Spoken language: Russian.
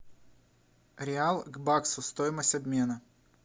реал к баксу стоимость обмена